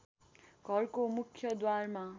घरको मुख्य द्वारमा